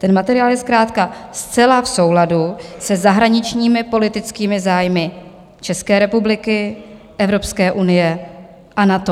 Ten materiál je zkrátka zcela v souladu se zahraničními politickými zájmy České republiky, Evropské unie a NATO.